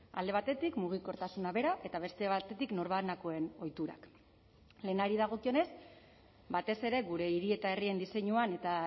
alde batetik mugikortasuna bera eta beste batetik norbanakoen ohiturak lehenari dagokionez batez ere gure hiri eta herrien diseinuan eta